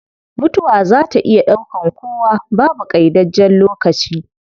Mutuwa zaa ta iya daukan kowa, babu qaidajjen lokaci